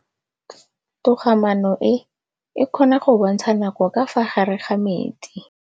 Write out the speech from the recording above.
Toga-maanô e, e kgona go bontsha nakô ka fa gare ga metsi.